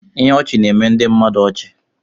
Ihe ọchị na-eme ndị mmadụ ọchị.